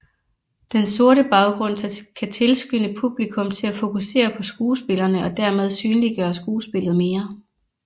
Den sorte baggrund kan tilskynde publikum til at fokusere på skuespillerne og dermed synliggøre skuespillet mere